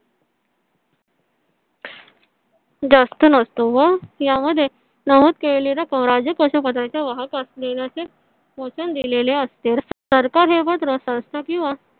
जास्त नसतो व यामध्ये नमूद केलेली रक्कम राजकोष पत्राचे वाहक असलेल्याचें वचन दिलेले असते सरकार हे पत्र संस्था किंवा